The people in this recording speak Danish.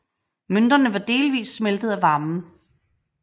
Mønterne var delvis smeltet af varmen